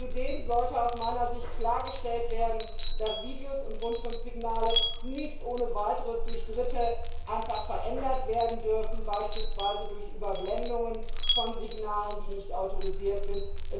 Zudem sollte aus meiner Sicht klargestellt werden, dass Videos und Rundfunksignale nicht ohne Weiteres durch Dritte einfach verändert werden dürfen, beispielsweise durch Überblendungen von Signalen, die nicht autorisiert sind.